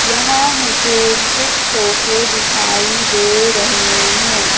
यहां मुझे कुछ सोफे दिखाई दे रहे हैं।